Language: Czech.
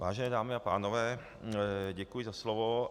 Vážené dámy a pánové, děkuji za slovo.